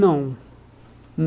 Não.